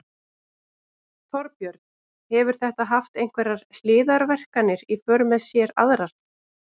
Þorbjörn: Hefur þetta haft einhverjar hliðarverkanir í för með sér aðrar?